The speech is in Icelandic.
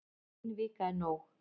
Ein vika er nóg